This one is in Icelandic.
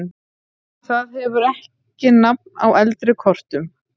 Það hefur ekki nafn á eldri kortum.